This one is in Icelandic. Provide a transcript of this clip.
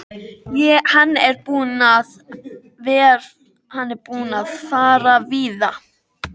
Ég skildi hvorki upp né niður.